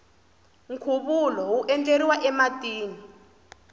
nkhuvulo wu endleriwa ematini